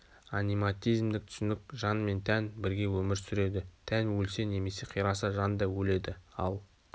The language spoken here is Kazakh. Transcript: аниматизмдік түсінік жан мен тән бірге өмір сүреді тән өлсе немесе қираса жан да өледі ал